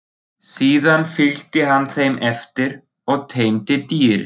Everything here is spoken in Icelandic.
Síðan fylgdi hann þeim eftir og teymdi dýrið.